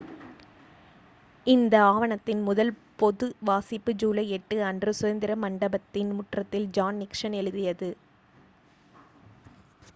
இந்த ஆவணத்தின் முதல் பொது வாசிப்பு ஜூலை 8 அன்று சுதந்திர மண்டபத்தின் முற்றத்தில் ஜான் நிக்சன் எழுதியது